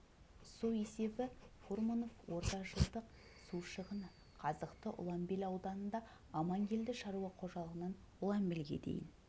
есебі бойынша фурманов ортажылдық су шығыны қазықты ұланбел ауданында амангелді шаруа қожалығынан ұланбелге дейін